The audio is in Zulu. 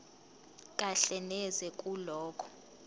kahle neze kulokho